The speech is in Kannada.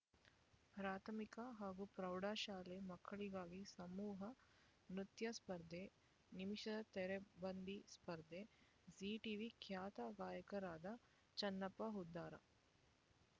ಪ್ರಾಥಮಿಕ ಹಾಗೂ ಪ್ರೌಢಶಾಲಾ ಮಕ್ಕಳಿಗಾಗಿ ಸಮೂಹ ನೃತ್ಯ ಸ್ಪರ್ಧೆ ನಿಮಿಷ ತೆರೆ ಬಂಡಿ ಸ್ಪರ್ಧೆ ಝೀ ಟಿವಿ ಖ್ಯಾತ ಗಾಯಕರಾದ ಚನ್ನಪ್ಪ ಹುದ್ದಾರ